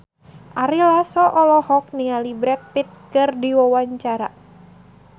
Ari Lasso olohok ningali Brad Pitt keur diwawancara